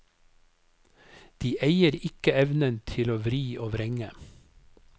De eier ikke evnen til å vri og vrenge.